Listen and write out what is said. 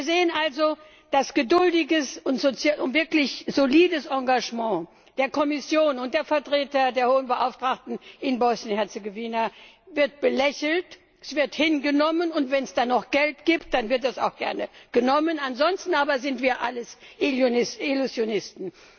Wir sehen also, das geduldige und wirklich solide Engagement der Kommission und der Vertreter der Hohen Beauftragten in Bosnien und Herzegowina wird belächelt, es wird hingenommen, und wenn es dann noch Geld gibt, dann wird das auch gerne genommen, ansonsten aber sind wir alle Illusionisten.